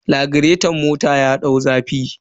Lagireton mota ya dau zafi.